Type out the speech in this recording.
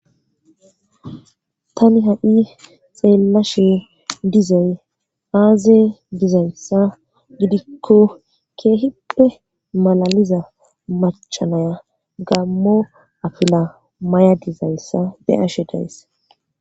tani ha7i xeellashe dizay aaze dizayssa gidikko keehipphe malaliza machanaya gammo afila may7a dizayssa be7ashe dayss